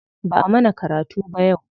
Ba'a mana karatu ba yau.